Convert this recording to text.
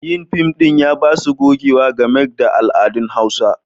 Yin fim ɗin ya ba su gogewa game da al'adun Hausawa.